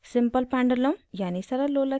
* simple pendulum सरल लोलक की गति